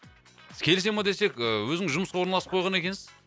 келісе ма десек ы өзіңіз жұмысқа орналасып қойған екенсіз